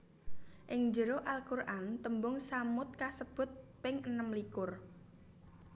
Ing jero Al Qur an tembung tsamud kasebut ping enem likur